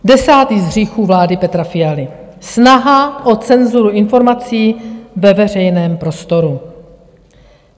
Desátý z hříchů vlády Petra Fialy - snaha o cenzuru informací ve veřejném prostoru.